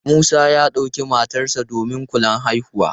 Musa ya ɗauki matarsa ​​domin kulan haihuwa.